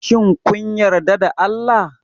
Shin kun yarda da Allah?